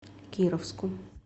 кировску